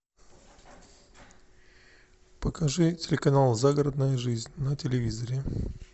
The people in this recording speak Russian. покажи телеканал загородная жизнь на телевизоре